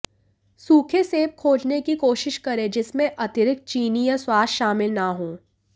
सूखे सेब खोजने की कोशिश करें जिसमें अतिरिक्त चीनी या स्वाद शामिल न हों